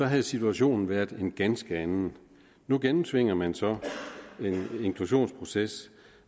havde situationen været en ganske anden nu gennemtvinger man så en inklusionsproces